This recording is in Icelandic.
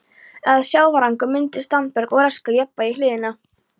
eða sjávargangur myndað standberg og raskað jafnvægi hlíðanna.